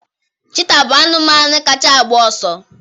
cheetah bụ anụmanụ kacha a gba ọsọ